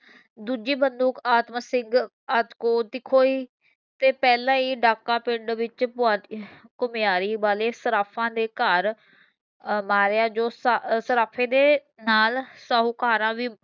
ਦੂਜੀ ਬੰਦੂਕ ਆਤਮ ਸਿੰਘ ਦੀ ਖੋਈ ਤੇ ਪਹਿਲਾਂ ਹੀ ਡਾਕਾ ਪਿੰਡ ਵਿੱਚ ਘੁਮਿਆਰੀ ਵਾਲੇ ਸਰਾਫਾ ਦੇ ਘਰ ਮਾਰਿਆ ਜੋ ਸ ਸਰਾਫ਼ੇ ਦੇ ਨਾਲ ਸ਼ਾਹੂਕਾਰਾ ਭੀ